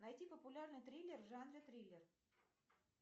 найти популярный триллер в жанре триллер